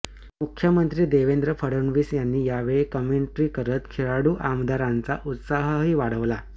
मुख्यमंत्री देवेंद्र फडणवीस यांनी यावेळी कॉमेंट्री करत खेळाडू आमदारांचा उत्साहही वाढवला